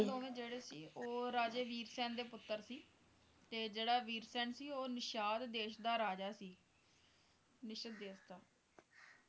ਇਹ ਦੋਵੇਂ ਸੀ ਜਿਹੜੇ ਉਹ ਰਾਜੇ ਵੀਰਸੈਨ ਦੇ ਪੁੱਤਰ ਸੀ ਤੇ ਜਿਹੜਾ ਵੀਰਸੈਨ ਸੀ ਉਹ ਨਿਸ਼ਾਧ ਦੇਸ਼ ਦਾ ਰਾਜਾ ਸੀ ਨਿਸ਼ਧ ਦੇਸ਼ ਦਾ